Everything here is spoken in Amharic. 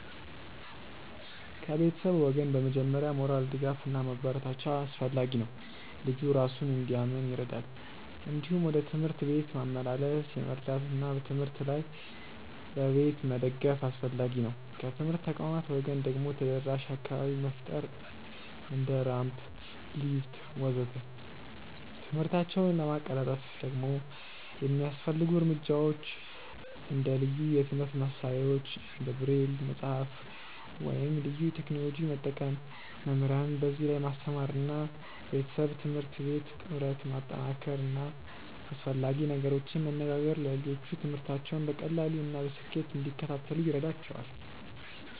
ከቤተሰብ ወገን በመጀመሪያ ሞራል ድጋፍ እና ማበረታቻ አስፈላጊ ነው፣ ልጁ እራሱን እንዲያምን ይረዳል። እንዲሁም ወደ ትምህርት ቤት ማመላለስ መርዳት እና በትምህርት ላይ በቤት መደገፍ አስፈላጊ ነው። ከትምህርት ተቋማት ወገን ደግሞ ተደራሽ አካባቢ መፍጠር እንደ ራምፕ፣ ሊፍት ወዘተ..።ትምህርታቸውን ለማቀላጠፍ ደግሞ የሚያስፈልጉ እርምጃዎች እንደ ልዩ የትምህርት መሳሪያዎች እንደ ብሬል መጽሐፍ ወይም ልዩ ቴክኖሎጂ መጠቀም፣ መምህራንን በዚህ ላይ ማስተማር እና ቤተሰብ-ትምህርት ቤት ጥምረት ማጠናከር እና አስፈላጊ ነገሮችን መነጋገር ለልጆቹ ትምህርታቸውን በቀላሉ እና በስኬት እንዲከታተሉ ይረዳቸዋል።